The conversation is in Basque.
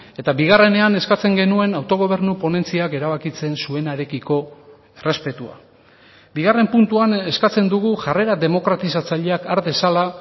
eta bigarrenean eskatzen genuen autogobernu ponentziak erabakitzen zuenarekiko errespetua bigarren puntuan eskatzen dugu jarrera demokratizatzaileak har dezala